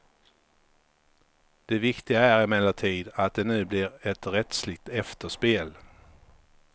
Det viktiga är emellertid att det nu blir ett rättsligt efterspel.